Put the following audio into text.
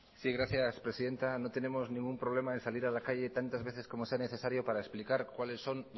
sí gracias presidenta no tenemos ningún problema en salir a la calle tantas veces como sea necesario para explicar cuáles son